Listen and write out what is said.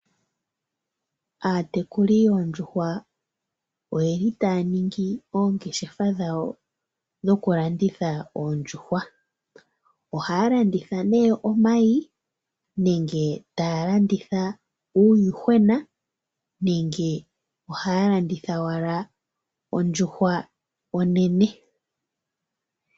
Aatekuli yoondjuhwa oyeli taya ningi ongeshefa dhawo dhokulanditha oondjuhwa. Ohaya landitha nee omayi, nenge taya landitha uuyuhwena, nenge ohaya landitha owala ondjuhwa onene.